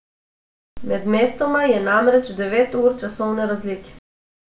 Med mestoma je namreč devet ur časovne razlike.